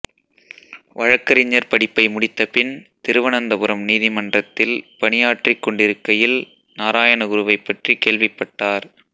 வழக்கறிஞர் படிப்பை முடித்தபின் திருவனந்தபுரம் நீதிமன்றத்தில் பணியாற்றிக்கொண்டிருக்கையில் நாராயணகுருவைப் பற்றி கேள்விப்பட்டார்